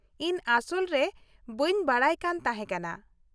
ᱤᱧ ᱟᱥᱚᱞ ᱨᱮ ᱵᱟ.ᱧ ᱵᱟᱰᱟᱭ ᱠᱟᱱ ᱛᱟᱦᱮᱸ ᱠᱟᱱᱟ ᱾